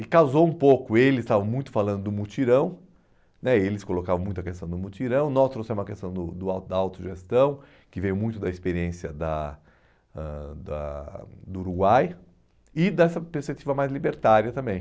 E causou um pouco, eles estavam muito falando do mutirão né, eles colocavam muito a questão do mutirão, nós trouxemos a questão do do da autogestão, que veio muito da experiência da ãh da do Uruguai e dessa perspectiva mais libertária também.